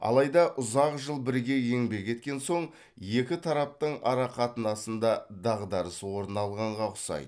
алайда ұзақ жыл бірге еңбек еткен соң екі тараптың арақатынасында дағдарыс орын алғанға ұқсайды